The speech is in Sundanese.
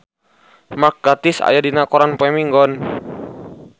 Mark Gatiss aya dina koran poe Minggon